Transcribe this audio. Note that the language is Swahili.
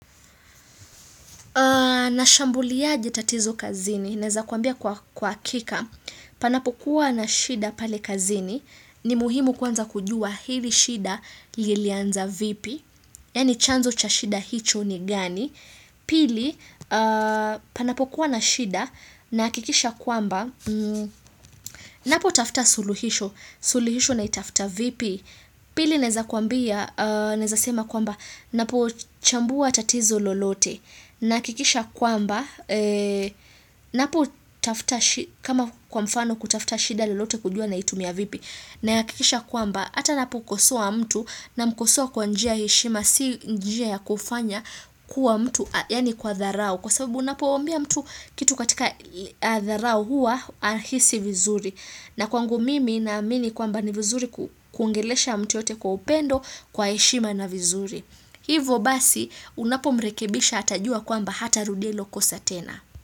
Nashambuliaje tatizo kazini, naeza kuambia kwa hakika, panapokuwa na shida pale kazini, ni muhimu kwanza kujua hili shida lilianza vipi, yaani chanzo cha shida hicho ni gani, pili panapokuwa na shida nahakikisha kwamba, ninapotafuta suluhisho, suluhisho naitafuta vipi, pili naeza kuambia, naeza sema kwamba, napochambua tatizo lolote, Nahakikisha kwamba, kama kwa mfano kutafuta shida lolote kujua naitumia vipi, nahakikisha kwamba, hata napokosoa mtu namkosoa kwa njia ya heshima, si njia ya kufanya kuwa mtu, yaani kwa dharau, kwa sababu unapomwambia mtu kitu katika dharau hua, hahisi vizuri. Na kwangu mimi naamini kwamba ni vizuri kuongelesha mtu yoyote kwa upendo kwa heshima na vizuri. Hivyo basi unapomrekebisha atajua kwamba hatarudia hilo kosa tena.